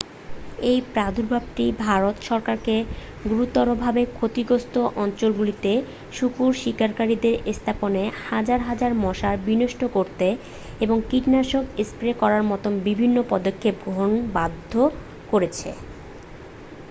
এই প্রাদুর্ভাবটি ভারত সরকারকে গুরুতরভাবে ক্ষতিগ্রস্থ অঞ্চলগুলিতে শূকর শিকারিদের স্থাপনে হাজার হাজার মশার বিনষ্ট করতে এবং কীটনাশক স্প্রে করার মতো বিভিন্ন পদক্ষেপ গ্রহণে বাধ্য করেছে